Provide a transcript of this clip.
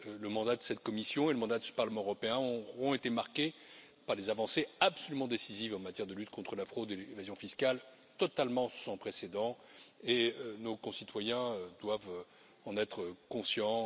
Le mandat de cette Commission et le mandat de ce Parlement européen auront été marqués par des avancées absolument décisives en matière de lutte contre la fraude et l'évasion fiscales, totalement sans précédent, et nos concitoyens doivent en être conscients.